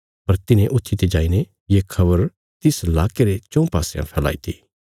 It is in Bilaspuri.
पर तिन्हे ऊत्थीते जाईने ये खबर तिस लाके रे चऊँ पासयां फैलाईती